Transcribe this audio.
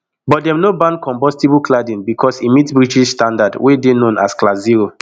but dem no ban combustible cladding becos e meet british standard wey dey known as class zero